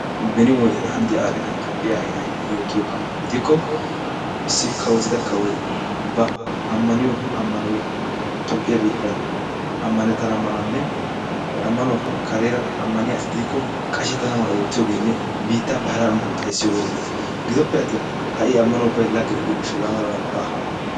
Beni wodiyan hanidda aadhdhida Toophiyaa hayday yootiyogaadan gidikko Issi kawotida kawoy ba ammaniyo ammanoy toophphiya biittan ammanettana malanne he ammanuwappe kareera ammaniya asi diikko qashettana mala oottiyogeenne biittaappe hara ammanuwa xayssiyooge erettees. Giddoppe attin ha''i ammano ubbay lagge gidiyo gishshawu hegaa malabay baawa.